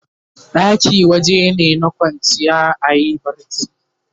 ɗaki wajene na kwanciya ayi barci